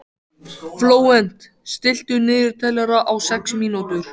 Flóvent, stilltu niðurteljara á sex mínútur.